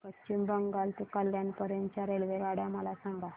पश्चिम बंगाल ते कल्याण पर्यंत च्या रेल्वेगाड्या मला सांगा